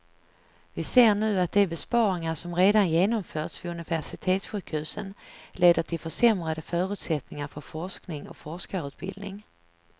Vi ser nu att de besparingar som redan genomförts vid universitetssjukhusen leder till försämrade förutsättningar för forskning och forskarutbildning.